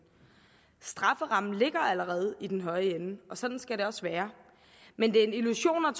strafferammen ligger allerede i den høje ende og sådan skal det også være men det er en illusion